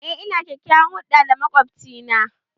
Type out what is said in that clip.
Eh, ina kyakyawan hulɗa da makwabci na